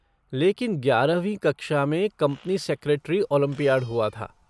लेकिन ग्यारहवीं कक्षा में कंपनी सेक्रेटरी ओलंपियाड हुआ था।